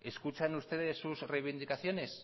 escuchan ustedes sus reivindicaciones